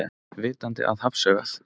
Vitandi að hafsaugað.